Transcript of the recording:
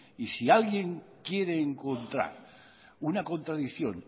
y si alguien quiere encontrar una contradicción